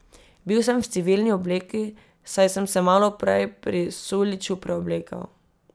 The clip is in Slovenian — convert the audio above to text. Bil sem v civilni obleki, saj sem se malo prej pri Suljiću preoblekel.